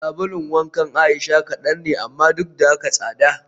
Sabulun wankan Aisha kadan ne amma duk da haka tsada